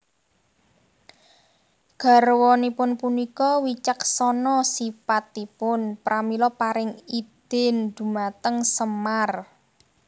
Garwanipun punika wicaksana sipatipun pramila paring idin dhumateng Semar